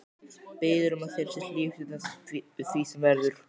Biður um að þér sé hlíft við því sem verður.